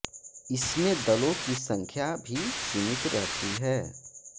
इसमें दलों की संख्या भी सीमित रहती है